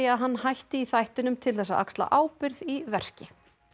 að hann hætti í þættinum til þess að axla ábyrgð í verki